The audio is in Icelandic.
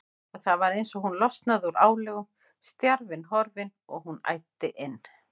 Og það var eins og hún losnaði úr álögum, stjarfinn horfinn, og hún æddi inn.